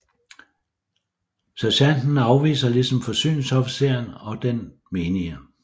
Sergenten afviser ligesom forsyningsofficeren og den menige